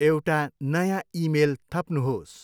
एउटा नयाँ इमेल थप्नुहोस्।